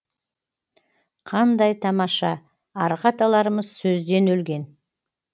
қандай тамаша арғы аталарымыз сөзден өлген